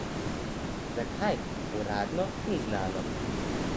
Zakaj, uradno ni znano.